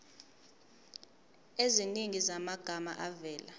eziningi zamagama avela